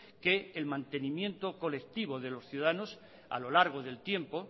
que el mantenimiento colectivo de los ciudadanos a lo largo del tiempo